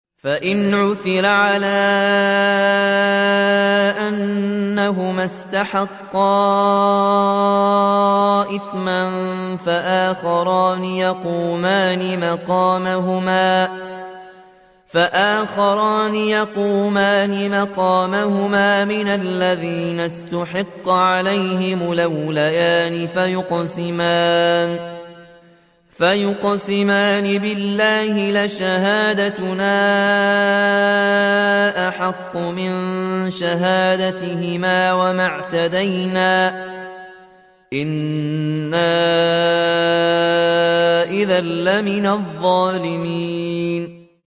فَإِنْ عُثِرَ عَلَىٰ أَنَّهُمَا اسْتَحَقَّا إِثْمًا فَآخَرَانِ يَقُومَانِ مَقَامَهُمَا مِنَ الَّذِينَ اسْتَحَقَّ عَلَيْهِمُ الْأَوْلَيَانِ فَيُقْسِمَانِ بِاللَّهِ لَشَهَادَتُنَا أَحَقُّ مِن شَهَادَتِهِمَا وَمَا اعْتَدَيْنَا إِنَّا إِذًا لَّمِنَ الظَّالِمِينَ